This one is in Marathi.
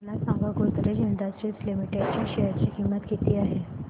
मला सांगा गोदरेज इंडस्ट्रीज लिमिटेड च्या शेअर ची किंमत किती आहे